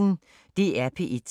DR P1